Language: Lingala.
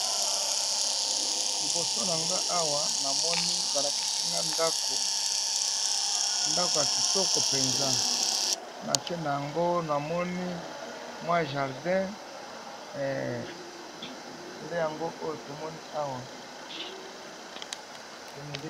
liboso na nga awa namoni balakisinga ndako ya kitoko mpenza na se na yango namoni mwa jardin nde yango oyo tomoni awa